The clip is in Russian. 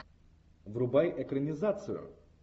врубай экранизацию